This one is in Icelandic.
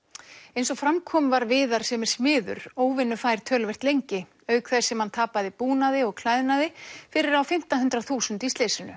eins og fram kom var Viðar sem er smiður óvinnufær töluvert lengi auk þess sem hann tapaði búnaði og klæðnaði fyrir á fimmta hundrað þúsund í slysinu